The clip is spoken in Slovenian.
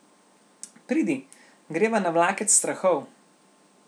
Pridi, greva na vlakec strahov.